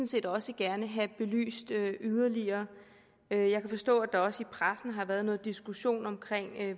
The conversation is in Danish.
set også gerne have belyst yderligere jeg kan forstå at der også i pressen har været noget diskussion om